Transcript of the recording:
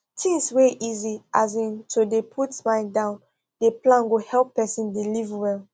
things wey easy as in to dey put my down dey plan go help person dey live well